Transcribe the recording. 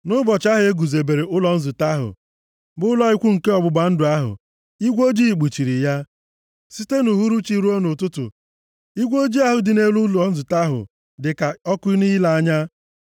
Nʼụbọchị ahụ e guzobere ụlọ nzute ahụ bụ ụlọ ikwu nke igbe iwu ọgbụgba ndụ ahụ, igwe ojii kpuchiri ya. Site nʼuhuruchi ruo nʼụtụtụ igwe ojii ahụ dị nʼelu ụlọ nzute ahụ dịka ọkụ nʼile anya.